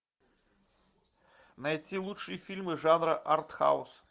найти лучшие фильмы жанра артхаус